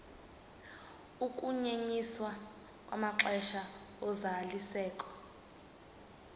ukunyenyiswa kwamaxesha ozalisekiso